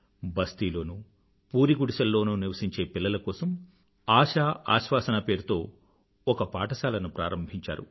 బస్తీలోనూ పూరి గుడిసెల్లోనూ నివసించే పిల్లల కోసం ఆశ ఆశ్వాసన పేరుతో ఒక పాఠశాలను ప్రారంభించారు